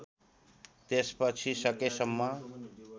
त्यसपछि सकेसम्म